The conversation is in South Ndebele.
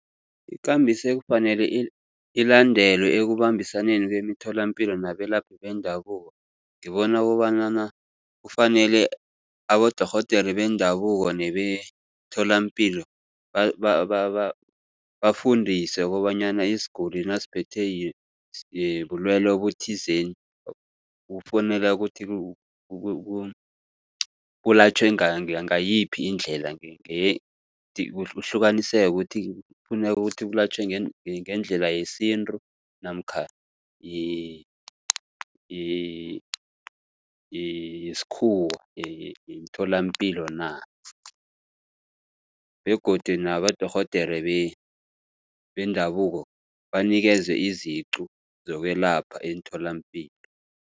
Ikambiso ekufanele ilandelwe ekubambisaneni kwemitholapilo nabelaphi bendabuko ngibona kobanyana kufanele abodorhodere bendabuko nebemtholapilo bafundiswe kobanyana isiguli nasiphethwe bulwele obuthizeni kufuneka ukuthi kulatjhwe ngayiphi indlela kuhlukaniseke ukuthi kufuneka ukuthi kulatjhwe ngendlela yesintu namkha yesikhuwa yemtholapilo na, begodu nabodorhodere bendabuko banikezwe iziqu zokwelapha emtholapilo.